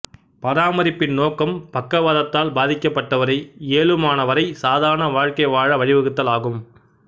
பராமரிப்பின் நோக்கம் பக்கவாதத்தால் பாதிக்கப்பட்டவரை இயலுமானவரை சாதாரண வாழ்க்கை வாழ வழிவகுத்தல் ஆகும்